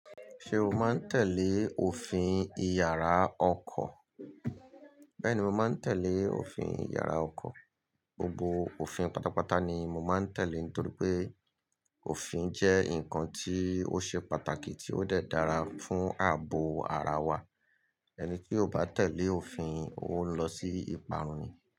Ṣé o máa ń tẹ̀lé òfin ìyàrá ọkọ̀? Bẹ́ẹ̀ni, mo máa ń tẹ̀lé òfin ìyàrá ọkọ̀. Gbogbo òfin pátápátá ni mo máa ń tẹ̀lé nítorí pé òfin jẹ́ ǹkan tí ó ṣe pàtàkì tí ó dé dára fún ààbò ara wa. Ẹni tí kò bá tẹ̀lé òfin ó ń lọ sí ìparun ni.